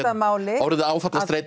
að máli orðið